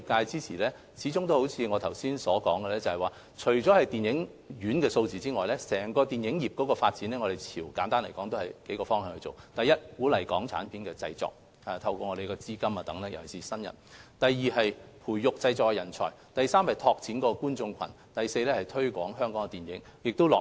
正如我剛才所說，在推動電影業發展及支援業界方面，我們的工作包括數個方向：第一，透過資金資助等鼓勵港產片製作，特別是鼓勵業界的新人製作電影；第二，培育電影製作人才；第三，拓展觀眾群；第四，推廣香港電影。